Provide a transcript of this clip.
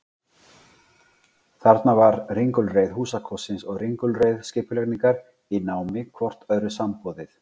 Þarna var ringulreið húsakostsins og ringulreið skipulagningar í námi hvort öðru samboðið.